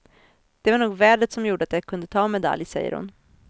Det var nog vädret som gjorde att jag kunde ta medalj, säger hon.